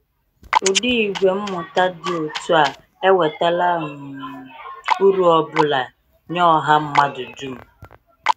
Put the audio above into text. Ụdị ìgwè mmụta dị otú a ewetala um uru ọ bụla nye ọha mmadụ dum?